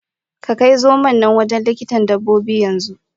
Ka Kai zomon na wajen likitan Dabbobin Yan zu.